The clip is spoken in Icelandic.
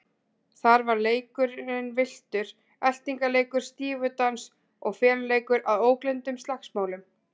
Þar var leikinn villtur eltingaleikur, stífudans og feluleikur að ógleymdum slagsmálum.